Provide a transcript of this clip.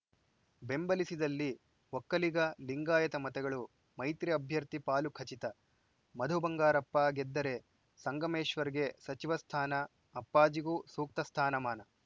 ಬೆಂಬಲಿಸಿದಲ್ಲಿ ಒಕ್ಕಲಿಗ ಲಿಂಗಾಯತ ಮತಗಳು ಮೈತ್ರಿ ಅಭ್ಯರ್ಥಿ ಪಾಲು ಖಚಿತ ಮಧು ಬಂಗಾರಪ್ಪ ಗೆದ್ದರೆ ಸಂಗಮೇಶ್ವರ್‌ಗೆ ಸಚಿವ ಸ್ಥಾನ ಅಪ್ಪಾಜಿಗೂ ಸೂಕ್ತ ಸ್ಥಾನಮಾನ